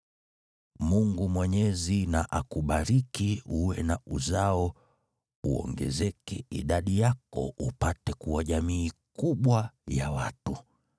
Mungu Mwenyezi na akubariki uwe na uzao uongezeke idadi yako upate kuwa jamii kubwa ya watu.